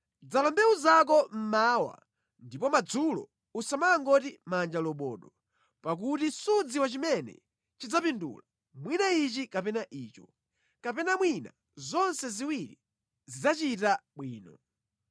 Dzala mbewu zako mmawa ndipo madzulo usamangoti manja lobodo, pakuti sudziwa chimene chidzapindula, mwina ichi kapena icho, kapena mwina zonse ziwiri zidzachita bwino.